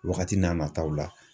Wagati n'a nataw la.